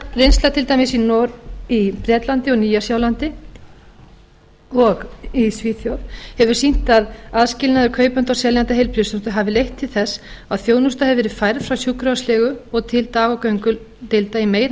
reynslan til dæmis í bretlandi nýja sjálandi og svíþjóð hefur sýnt að aðskilnaður kaupanda og seljanda heilbrigðisþjónustu hafi leitt til þess að þjónusta hefur verið færð frá sjúkrahúslegu og til dag og göngudeilda í meira